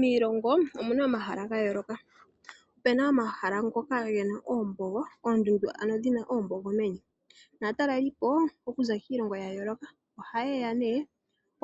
Miilongo omuna omahala gayooloka opuna omahala ngoka gena oombogo, oondundu ano dhina oombogo meni naatalelipo okuza kiilongo yayooloka ohaye ya nee